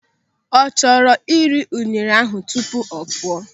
Ọ chọrọ iri unere tupu ọ pụọ?